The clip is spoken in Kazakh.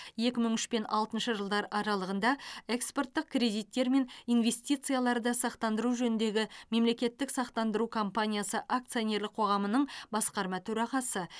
екі мың үш пен алтыншы жылдар аралығында экспорттық кредиттер мен инвестицияларды сақтандыру жөніндегі мемлекеттік сақтандыру компаниясы акционерлік қоғамының басқарма төрағасы